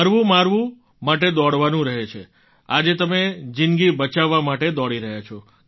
મરવુંમારવા માટે દોડવાનું રહે છે આજે તમે જિંદગી બચાવવા માટે દોડી રહ્યા છો